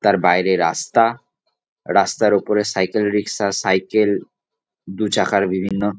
তার বাইরে রাস্তা। রাস্তার ওপরে সাইকেল রিক্সা সাইকেল দু চাকার বিভিন্ন--